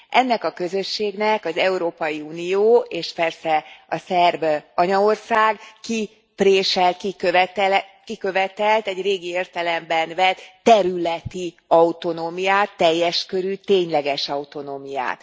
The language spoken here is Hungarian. Ennek a közösségnek az Európai Unió és persze a szerb anyaország kipréselt, kikövetelt egy régi értelemben vett területi autonómiát, teljes körű, tényleges autonómiát.